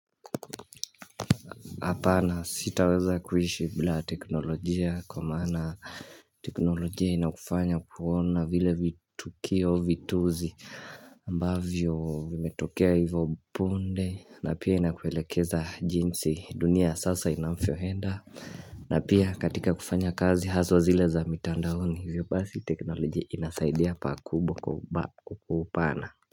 Hapana sitaweza kuishi bila teknolojia kwa maana teknolojia inakufanya kuona vile vitukio vituzi ambavyo vimetokea hivyo punde na pia inakuelekeza jinsi dunia ya sasa inafyo henda. Na pia katika kufanya kazi haswa zile za mitandaoni hivyo basi teknolojia inasaidia pakubwa kubwa kwa upana.